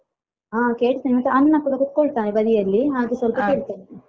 ಹಾ ಕೇಳ್ತಾನೆ ಮತ್ತೆ ಅಣ್ಣ ಕೂಡ ಕೂತ್ಕೊಳ್ತಾನೆ ಬದಿಯಲ್ಲಿ ಹಾಗೆ ಸ್ವಲ್ಪ ಕೇಳ್ತಾನೆ.